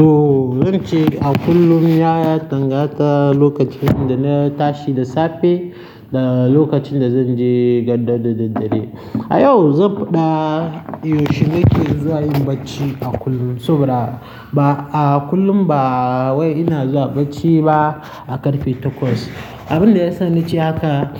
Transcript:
To zance a kullum ya dangata lokacin dana tashi da safe da lokacin da zanje gado da daddare. A yau zan faɗa yaushe nake zuwa yin bacci a kullum saboda ba a kullum ba wai ina zuwa bacci ba a ƙarfe takwas. Abin da yasa nace haka